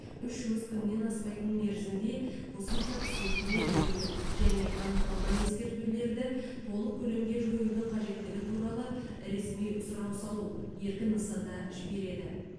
үш жұмыс күнінен аспайтын мерзімде қосымша түсініктеме берудің және анықталған ескертулерді толық көлемде жоюдың қажеттігі туралы ресми сұрау салу еркін нысанда жібереді